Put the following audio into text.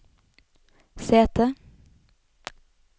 sete